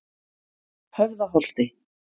Höfðaholti